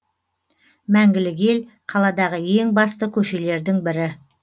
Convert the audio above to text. мәңгілік ел қаладағы ең басты көшелердің бірі